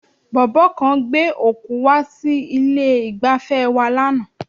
Bọ̀bọ́ kan gbé òkú wá sí ilé-ìgbafẹ́ wa lánàá.